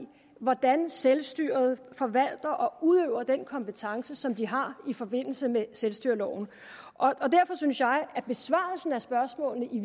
hvordan selvstyret forvalter og udøver den kompetence som de har i forbindelse med selvstyreloven og derfor synes jeg at besvarelse af spørgsmålene i